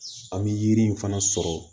An bɛ yiri in fana sɔrɔ